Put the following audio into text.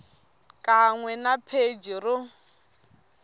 xikan we na pheji ro